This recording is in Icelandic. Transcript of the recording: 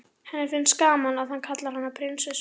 Henni finnst gaman að hann kallar hana prinsessu.